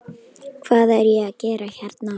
Hvað er ég að gera hérna?